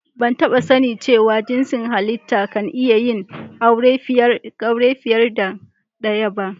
Ban taba sani cewa jinsin hallita kan iya yin aure fiyar da daya ba.